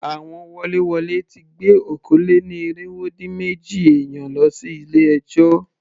Àwọn woléwolé ti gbé okòó-lé-ní-irínwó-dín-méjì èèyàn lọ sí ilé ẹjọ́.